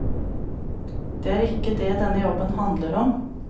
Det er ikke det denne jobben handler om.